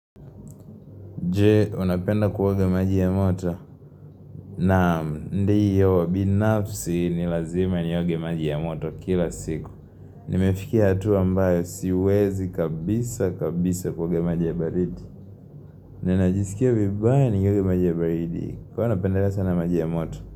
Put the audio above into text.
Je, unapenda kuoga maji ya moto? Naam, ndio, binafsi ni lazima nioge maji ya moto kila siku. Nimefikia hatua ambayo siwezi kabisa kabisa kuogea maji ya baridi. Ninajisikia vibaya nikioga maji ya baridi. Kwa hio napendelea sana maji ya moto?